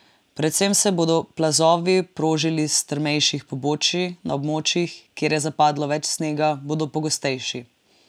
Predvsem se bodo plazovi prožili s strmejših pobočij, na območjih, kjer je zapadlo več snega bodo pogostejši.